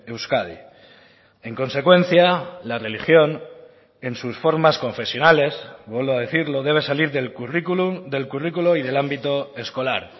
euskadi en consecuencia la religión en sus formas confesionales vuelvo a decirlo debe salir del currículum del currículo y del ámbito escolar